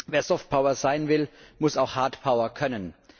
Wer Soft Power sein will, muss auch Hard Power bieten können.